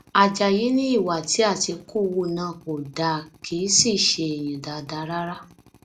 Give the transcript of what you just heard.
ajáyí ni ìwà tí àtìkù hù náà kò dáa kì í sì ṣe èèyàn dáadáa rárá